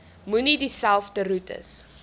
moenie dieselfde roetes